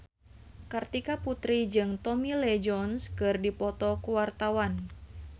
Kartika Putri jeung Tommy Lee Jones keur dipoto ku wartawan